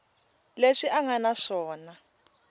leswi a nga na swona